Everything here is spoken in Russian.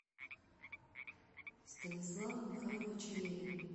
станислава михайловича левина